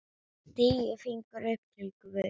Tíu fingur upp til guðs.